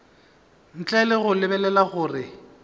ntle le go lebelela gore